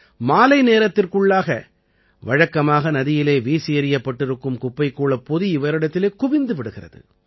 மாலை நேரத்திற்குள்ளாக வழக்கமாக நதியிலே வீசியெறியப்பட்டிருக்கும் குப்பைக் கூளப் பொதி இவரிடத்தில் குவிந்து விடுகிறது